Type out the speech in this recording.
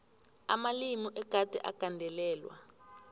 amalimi egade agandelelwe